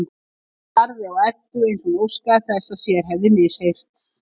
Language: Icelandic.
Hún starði á Eddu eins og hún óskaði þess að sér hefði misheyrst.